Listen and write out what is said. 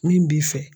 Min b'i fɛ